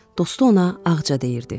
Dostu ona Ağca deyirdi.